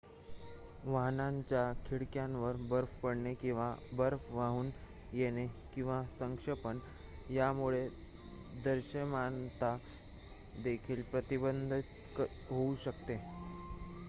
वाहनाच्या खिडक्यांवर बर्फ पडणे किंवा बर्फ वाहून येणे किंवा संक्षेपण यामुळे दृश्यमानता देखील प्रतिबंधित होऊ शकते